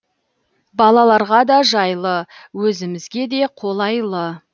балаларға да жайлы өзімізге де қолайлы